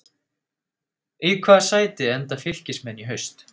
Í hvaða sæti enda Fylkismenn í haust?